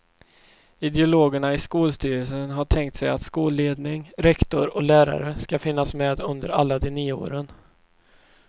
Ideologerna i skolstyrelsen har tänkt sig att skolledning, rektor och lärare ska finnas med under alla de nio åren.